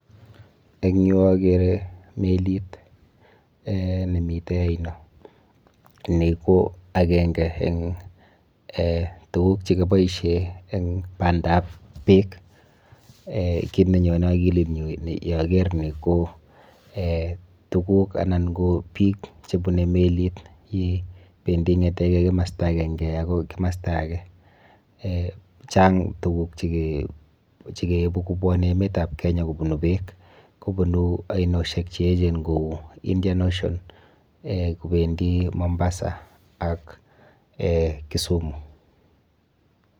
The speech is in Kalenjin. Eng yu akere melit um nemite oino. Ni ko akenke eng um tuguk chekiboishe eng bandab beek.[um] Kit nenyone akilinyu yaker ni ko um tuguk anan ko biik chebune melit yependi ng'eteke kimasta akenke akoi kimasta ake. um Chang tuguk chekeibu kobwone emetab Kenya kobubu beek kobunu ainoshek cheechen ku Indian ocean [um]kobendi Mombasa ak Kisumu.